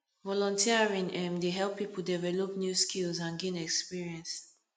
volunteering um dey help people develop new skills and gain experience